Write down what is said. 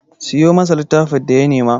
Siyo masa littafin da ya nema!